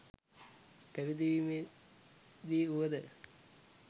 පැවිදි වීමේ දී වුව ද